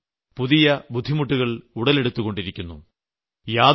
അതിൽനിന്നും പുതിയ ബുദ്ധിമുട്ടുകൾ ഉടലെടുത്തുകൊണ്ടിരിക്കുന്നു